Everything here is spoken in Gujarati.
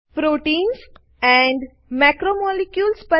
proteins and macromolecules